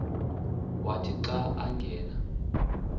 wathi xa angena